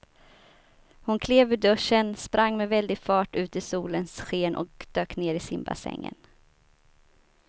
Hon klev ur duschen, sprang med väldig fart ut i solens sken och dök ner i simbassängen.